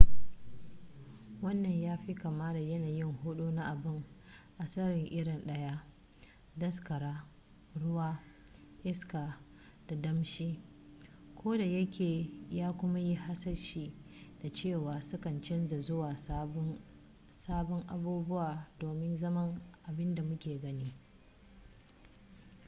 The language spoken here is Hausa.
wannan ya fi kama da yanayi hudu na abu a tsari iri daya: daskara ruwa iska da damshi ko da yake ya kuma yi hasashe da cewa su kan canza zuwa sabbin abubuwa domin zama abin da muke gani